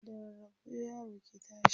da rarrafe yaro ke tashi